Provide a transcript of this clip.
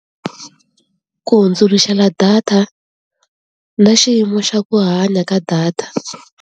Ku hundzuluxela data na xiyimo xa ku hanya ka data.